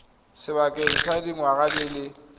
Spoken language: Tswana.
sebakeng sa dingwaga di le